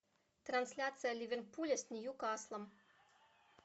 трансляция ливерпуля с ньюкаслом